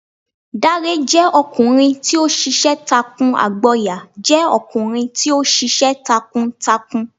Dàré jẹ ọkunrin ti o ṣiṣẹ takuAgboya jẹ ọkunrin ti o ṣiṣẹ takuǹtakuǹ